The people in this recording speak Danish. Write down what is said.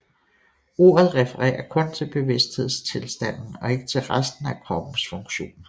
Ordet refererer kun til bevidsthedstilstanden og ikke til resten af kroppens funktioner